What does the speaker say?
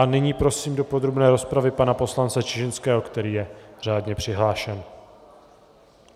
A nyní prosím do podrobné rozpravy pana poslance Čižinského, který je řádně přihlášen.